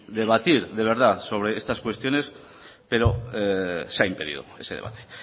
debatir de verdad sobre estas cuestiones pero se ha impedido ese debate